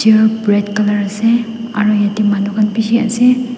ur bread colour ase aru yatae manu khan bishi ase.